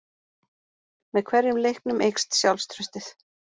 Með hverjum leiknum eykst sjálfstraustið.